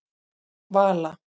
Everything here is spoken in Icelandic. Vala